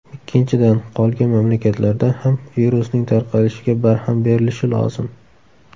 Ikkinchidan, qolgan mamlakatlarda ham virusning tarqalishiga barham berilishi lozim.